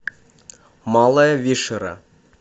малая вишера